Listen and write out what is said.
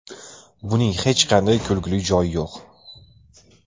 Buning hech qanday kulguli joyi yo‘q.